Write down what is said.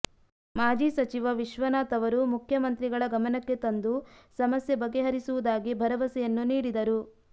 ಮಾಜಿ ಸಚಿವ ವಿಶ್ವನಾಥ್ ಅವರು ಮುಖ್ಯಮಂತ್ರಿಗಳ ಗಮನಕ್ಕೆ ತಂದು ಸಮಸ್ಯೆ ಬಗೆಹರಿಸುವುದಾಗಿ ಭರವಸೆಯನ್ನು ನೀಡಿದರು